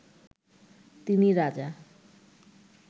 তিনি রাজা